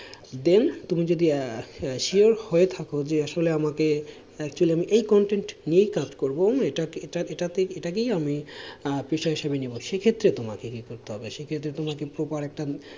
Then তুমি যদি sure হয়ে থাকো যে আসলে আমাকে actually আমি এই content নিয়েই কাজ করব, ইটা ইটা এটাতেই এই আমি পেশা হিসেবে নেবো সেই ক্ষেত্রে তোমাকে কি করতে হবে, সেই ক্ষেত্রে তোমাকে proper একটা,